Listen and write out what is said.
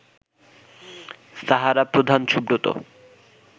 সাহারা প্রধান সুব্রত